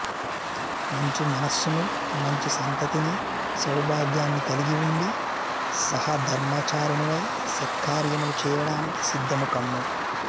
మంచి మనస్సును మంచి సంతతిని సౌభాగ్యాన్ని కలిగి ఉండి సహధర్మచారిణివై సత్కార్యములు చేయడానికి సిద్దముకమ్ము